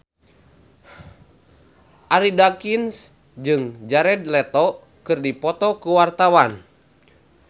Arie Daginks jeung Jared Leto keur dipoto ku wartawan